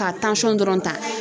Ka dɔrɔn ta.